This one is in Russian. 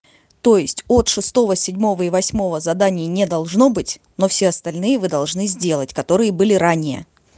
то есть от шестого седьмого и восьмого заданий не должно быть но все остальные вы должны сделать которые были ранее